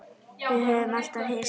Við höfðum alltaf hist á